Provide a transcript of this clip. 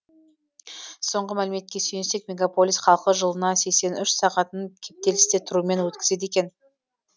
соңғы мәліметке сүйенсек мегаполис халқы жылына сексен үш сағатын кептелісте тұрумен өткізеді екен